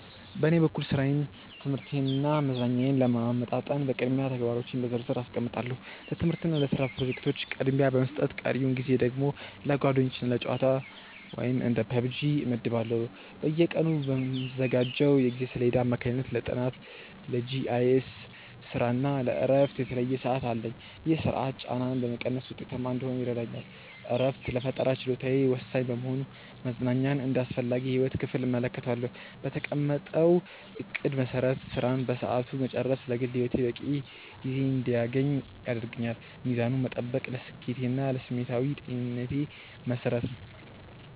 በኔ በኩል ሥራዬን ትምህርቴንና መዝናኛዬን ለማመጣጠን በቅድሚያ ተግባሮቼን በዝርዝር አስቀምጣለሁ። ለትምህርትና ለስራ ፕሮጀክቶች ቅድሚያ በመስጠት ቀሪውን ጊዜ ደግሞ ለጓደኞችና ለጨዋታ (እንደ PUBG) እመድባለሁ። በየቀኑ በምዘጋጀው የጊዜ ሰሌዳ አማካኝነት ለጥናት፣ ለGIS ስራና ለእረፍት የተለየ ሰዓት አለኝ። ይህ ስርዓት ጫናን በመቀነስ ውጤታማ እንድሆን ይረዳኛል። እረፍት ለፈጠራ ችሎታዬ ወሳኝ በመሆኑ መዝናኛን እንደ አስፈላጊ የህይወት ክፍል እመለከተዋለሁ። በተቀመጠው እቅድ መሰረት ስራን በሰዓቱ መጨረስ ለግል ህይወቴ በቂ ጊዜ እንድያገኝ ያደርገኛል። ሚዛኑን መጠበቅ ለስኬቴና ለስሜታዊ ጤንነቴ መሰረት ነው።